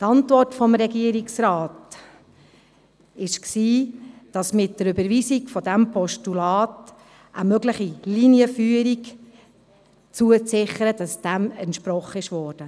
Die Antwort des Regierungsrates lautete, dass mit der Überweisung dieses Postulats, eine mögliche Linienführung zu sichern, dieser entsprochen wurde.